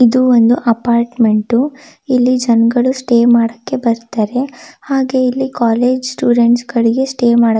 ಇದು ಒಂದು ಅಪಾರ್ಟ್ಮೆಂಟ್ ಇಲ್ಲಿ ಜನ್ಗಳು ಸ್ಟೇ ಮಾಡಕೆ ಬರತ್ತರೆ ಹಾಗೆ ಇಲ್ಲಿ ಕಾಲೇಜ್ ಸ್ಟೂಡೆಂಟ್ಸ್ ಗಳಿಗೆ ಸ್ಟೇ ಮಾಡಕೆ--